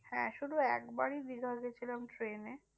হ্যাঁ শুধু একবারই দীঘা গিয়েছিলাম ট্রেনে।